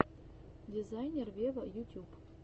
дизайнер вево ютюб